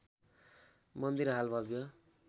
मन्दिर हाल भव्य